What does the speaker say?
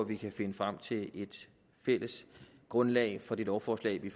vi kan finde frem til et fælles grundlag for det lovforslag vi